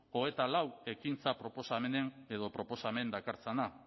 hogeita lau ekintza proposamen dakartzana